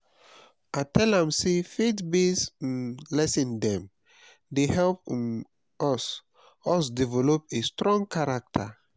i tell am sey faith-based um lesson dem dey help um us us develop a strong character.